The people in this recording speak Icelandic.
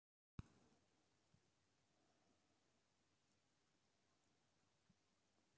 Að vera efstir í riðlinum, hvað geturðu beðið meira um?